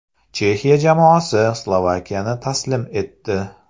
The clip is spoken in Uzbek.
Chexiya jamoasi Slovakiyani taslim etdi.